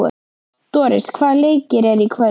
Doris, hvaða leikir eru í kvöld?